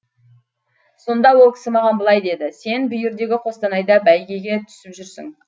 сонда ол кісі маған былай деді сен бүйірдегі қостанайда бәйгеге түсіп жүрсің